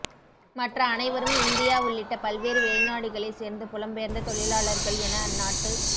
மற்ற அனைவரும் இந்தியா உள்ளிட்ட பல்வேறு வெளிநாடுகளை சேர்ந்த புலம்பெயர்ந்த தொழிலாளர்கள் என அந்நாட்டு